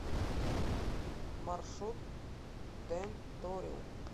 маршрут тенториум